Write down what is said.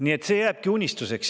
Nii et see jääbki unistuseks.